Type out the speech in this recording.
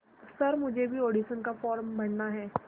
sir मुझे भी audition का फॉर्म भरना है